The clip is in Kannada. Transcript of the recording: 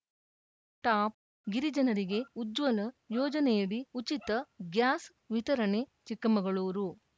ಟಾಪ್‌ ಗಿರಿಜನರಿಗೆ ಉಜ್ವಲ ಯೋಜನೆಯಡಿ ಉಚಿತ ಗ್ಯಾಸ್‌ ವಿತರಣೆ ಚಿಕ್ಕಮಗಳೂರು